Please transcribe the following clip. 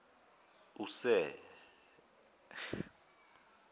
use